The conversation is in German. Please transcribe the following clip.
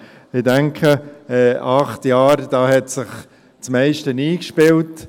Ich denke, in acht Jahren hat sich das meiste eingespielt.